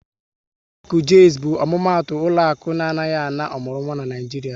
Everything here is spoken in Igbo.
Ụlọakụ Jaiz bụ omumatu ụlọaku na anaghị ana ọmụrụnwa n'Naijiria